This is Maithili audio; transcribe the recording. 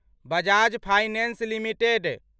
Bajaj finance limited